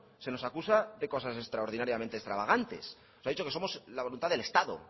se nos acusa de cosas extraordinariamente extravagantes nos ha dicho que somos la voluntad del estado